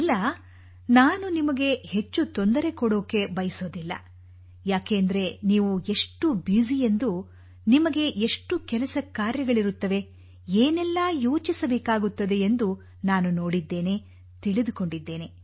ಇಲ್ಲ ನಾನು ನಿಮಗೆ ಹೆಚ್ಚು ತೊಂದರೆ ಕೊಡಲು ಬಯಸುವುದಿಲ್ಲ ಏಕೆಂದರೆ ನೀವು ಎಷ್ಟು ಬ್ಯುಸಿ ಎಂದು ನಿಮಗೆ ಎಷ್ಟು ಕೆಲಸ ಕಾರ್ಯಗಳಿರುತ್ತವೆ ಏನೆಲ್ಲಾ ಯೋಚಿಸಬೇಕಾಗುತ್ತದೆ ಎಂದು ನಾನು ನೋಡಿದ್ದೇನೆ ತಿಳಿದುಕೊಂಡಿದ್ದೇನೆ